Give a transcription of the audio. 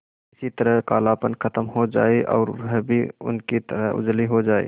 किसी तरह कालापन खत्म हो जाए और वह भी उनकी तरह उजली हो जाय